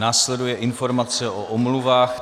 Následuje informace o omluvách.